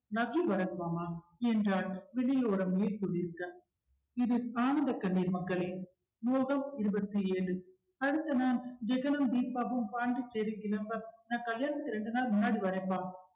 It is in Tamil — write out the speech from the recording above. love you பரத் மாமா என்றாள் விழி ஓரம் நீர் துளிர்க்க இது ஆனந்த கண்ணீர் மக்களே மோகம் இருபத்தி ஏழு அடுத்த நாள் ஜெகனும் தீபாவும் பாண்டிச்சேரி கிளம்ப நான் கல்யாணத்துக்கு ரெண்டு நாள் முன்னாடி வரேன்ப்பா